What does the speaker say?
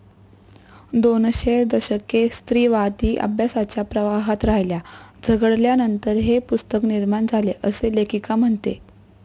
दोनशे दशके स्त्रीवादी अभ्यासाच्या प्रवाहात राहील्या, झगडल्यानंतर हे पुस्तक निर्माण झाले असे लेखिका म्हणते.